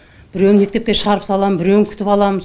біреуін мектепке шығарып салам біреуін күтіп алам